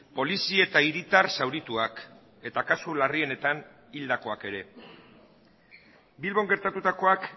polizi eta hiritar zaurituak eta kasu larrienetan hildakoak ere bilbon gertatutakoak